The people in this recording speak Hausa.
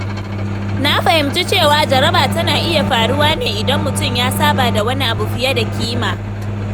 Na fahimci cewa jaraba tana iya faruwa ne idan mutum ya saba da wani abu fiye da kima.